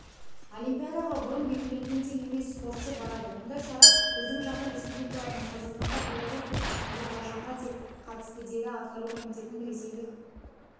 олимпиадаға бұрын белгіленгендей емес спортшы барады мұндай шара біздің жақын республикаларымыз қазақстанға беларусь пен әзербайжанға да қатысты деді атқару комитетінің ресейлік